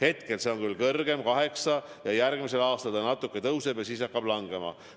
Hetkel see on küll kõrgem, 8%, ja järgmisel aastal see natuke tõuseb, siis aga hakkab ehk langema.